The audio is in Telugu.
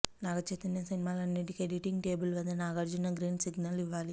నాగచైతన్య సినిమాలన్నిటికీ ఎడిటింగ్ టేబుల్ వద్ద నాగార్జున గ్రీన్ సిగ్నల్ ఇవ్వాలి